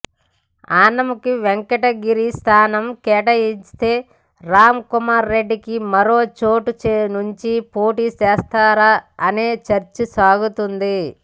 ఆనంకు వెంకటగిరి స్థానం కేటాయిస్తే రామ్ కుమార్ రెడ్డికి మరోచోటు నుంచి పోటీ చేస్తారా అనే చర్చ సాగుతోంది